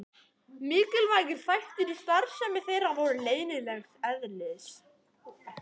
Mikilvægir þættir í starfsemi þeirra voru leynilegs eðlis.